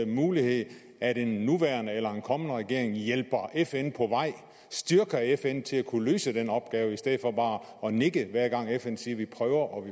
mulighed at en nuværende eller en kommende regering hjælper fn på vej styrker fn til at kunne løse den opgave i stedet for bare at nikke hver gang fn siger vi prøver og